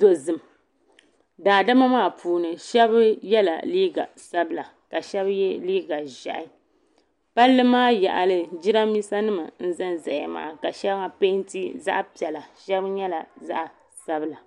dozim daadama maa puuni Sheba yela liiga sabla ka Sheba ye liiga ʒehi Palli maa yaɣali jirambisa nima n zanzaya maa ka sheŋa penti zaɣa piɛla Sheba nyɛla zaɣa sabila.